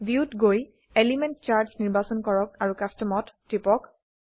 view ত গৈ element charts নিৰ্বাচন কৰক আৰু Customত টিপক